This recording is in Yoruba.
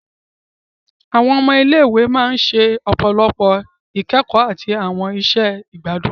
Awọn ọmọ ile-iwe ṣe ọpọlọpọ ikẹkọ ati awọn iṣẹ igbadun.